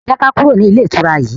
jé ká kúrò ní Ilé-ìtura yí.